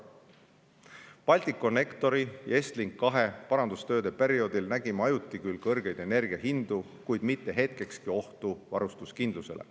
Balticconnectori ja Estlink2 parandustööde perioodil nägime ajuti küll kõrgeid energiahindu, kuid mitte hetkekski ohtu varustuskindlusele.